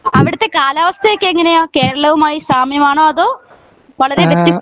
അവിടുത്തെ കാലാവസ്ഥ ഒക്കെ എങ്ങിനെയാ കേരളവുമായി സാമ്യംആണോ അതോ വളരേ വ്യത്യസ്ത